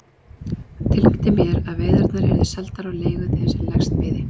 Hann tilkynnti mér að veiðarnar yrðu seldar á leigu þeim sem lægst byði.